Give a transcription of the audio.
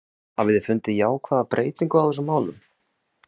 Hafiði fundið jákvæða breytingu á þessum málum?